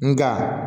Nga